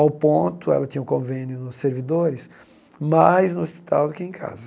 Ao ponto, ela tinha um convênio no servidores, mais no hospital do que em casa.